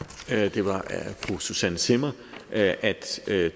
det var af fru susanne zimmer at at